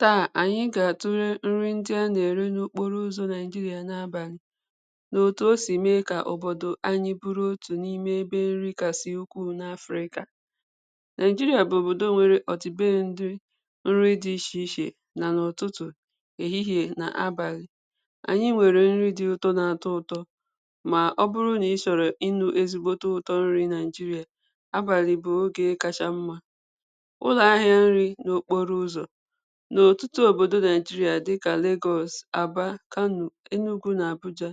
taa ànyị gà-àtule nri ndị a nà-èri n’okporo ụzọ̄ naịjirịa n’abàlị nà òtù o sì mee kà òbòdò anyị bụrụ otù n’ime ebe nri kàsị̀ ukwuu n’afị̀rịkà naịjirịa bụ̀ òbòdò nwere ọ̀tụtụ be ndu nri di ichè ichè nà n’ọ̀tụtụ̀ èhihiè nà abàlị̀ ànyị nwèrè nri di ụ̀tọ na-atọ ụ̀tọ mà ọ bụrụ nà ị chọ̀rọ̀ ịnụ ezigbote ụ̀tọ nri naịjirịà abàlị̀ bụ nkē kacha mmā ụlọ̀ ahịā nrī n’okporo ụzọ̀ n’etitī òbòdo naịjirịà dịkà Lagos, Aba, Kano, Enugu nà Abuja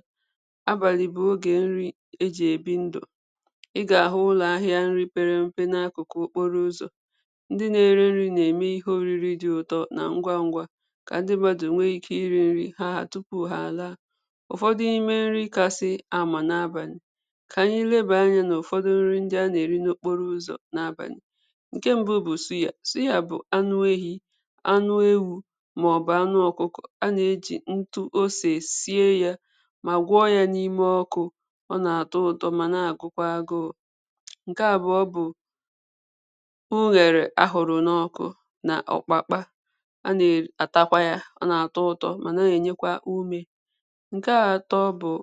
abàlị̀ bụ̀ ogè nri ejì èbi ndù ị gà-àhụ ụlọ̀ ahịā mepere èmepe n’akụ̀kụ̀ okporo ụzọ̀ ndị na-ere nrī na-ème ihe òriri di ụ̀tọ nà ngwangwa kà ndị mmadụ nwee ike irī nri ha tupu ha àlaa ụ̀fọdụ ime nri kasị anwà n’abàlị̀ kà ànyị lebà anyā n’ụ̀fọdụ nri ndị a nà-èri n’okporo ụzọ̀ n’abàlị̀ ǹke mbu bụ̀ suya. suya bụ̀ anụ ehī anụ ewū màọbụ anụ ọ̀kụkọ̀ a nà-èji ntu osè sie yā mà gwọ yā n’ime ọkụ̄ ọ nà-àto ụ̀tọ mà na-àgụkwa agụụ̄ ǹke àbụọ bụ̀ ughèrè a hụ̀rụ̀ n’ọkụ nà ọ̀kpakpa a nà-èri àtakwa ya ọ nà-àtọ ụ̀tọ mà na-ènyekwa umē ǹke àtọ bụ̀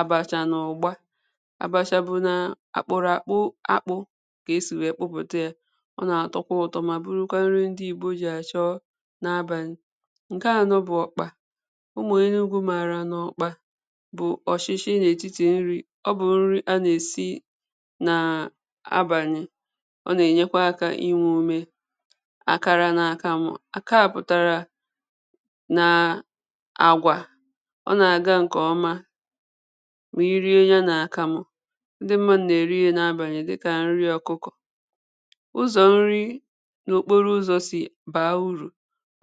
àbàchà na ụ̀gba àbàchà bụ nà akpụ̀rụ̀ àkpụ akpụ̄ kà esì wee kpụpụ̀ta yā ọ nà-àtọkwa ụ̀tọ mà bụrụkwa nri ndị ìgbò jì àchọ n’abàlị̀ ǹke ànọ bụ̀ ọ̀kpà umù enugu màrà nà ọ̀kpà bụ̀ ọ̀chịchị n’ètitì nrī ọ bụ̀ nri a nà-èsi nà abànị ọ nà-ènyekwa akā inwē ume àkàrà nà àkàmụ̀ àkaa pụ̀tàrà na àgwà ọ nà-àgà ǹkè ọma mà i rie ya nà àkàmụ ndị mmadụ nà-èri ya n’abàlị̀ dịkà nri ọkụkọ̀ ụzọ̀ nri n’okporo ụzọ̄ sì baa urù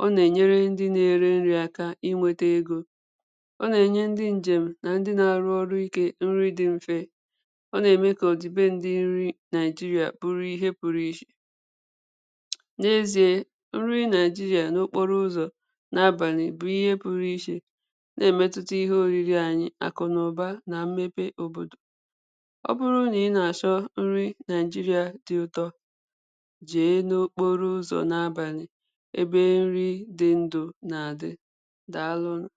ọ nà-ènyere ndị na-èri nrī aka inwēte ego ọ nà-ènye ndị ǹjèm nà ndị na-àrụ ọrụ ikē nri di mfe ọ nà-ème kà ọ̀ dì be ndị nri naịjirịà bụrụ ihe pụtụ ichè n'ezie nri naịjirịà n’okporo ụzọ̀ n’abàlị̀ bụ̀ ihe pụrụ ichè na-èmetuta ihe òriri anyị àkụ̀naụba nà mmepe òbòdò ọ bụrụ nà ị nà-àchọ nri naịjirịà di ụtọ jee n’okporo ụzọ̀ n’abànị̀ ebe nri di ndù nà-àdị dalụnụ̀